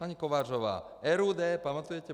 Paní Kovářová, RUD, pamatujete?